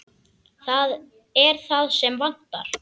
Það er það sem vantar.